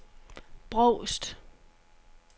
Brovst